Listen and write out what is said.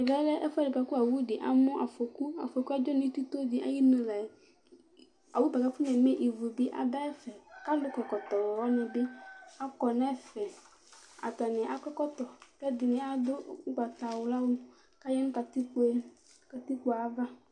Ɛmɛlɛ ɛfʋɛɖi kʋ awuɖi amu afoku Afokuɛ adzɔ ŋu itoɖi ayʋ iŋu la'ɛ Aluwaŋi kʋ afɔneme ívu bi ɖu ɛfɛ kʋ alu kɔ ɛkɔtɔ waŋi bi akɔ ŋu ɛfɛ Ataŋi akɔ ɛkɔtɔ kʋ ɛɖìní aɖu ugbatawla ku ayanu katikpo ayʋ ava